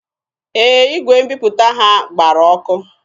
Ee, igwe mbiputa ha gbara ọkụ.